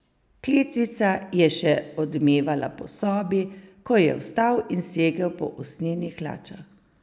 Kletvica je še odmevala po sobi, ko je vstal in segel po usnjenih hlačah.